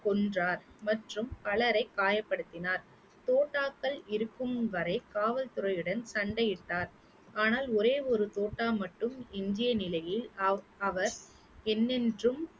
கொன்றார் மற்றும் பலரைக் காயப்படுத்தினார் தோட்டாக்கள் இருக்கும் வரை காவல்துறையுடன் சண்டையிட்டார் ஆனால் ஒரே ஒரு தோட்டா மட்டும் இருந்த நிலையில் அவ்~ அவர் என்றென்றும்